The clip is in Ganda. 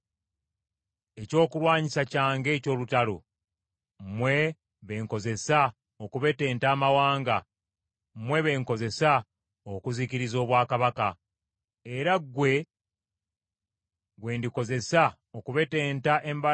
“Muli mbazzi yange, ekyokulwanyisa kyange eky’olutalo, mmwe be nkozesa okubetenta amawanga, mmwe be nkozesa okuzikiriza obwakabaka,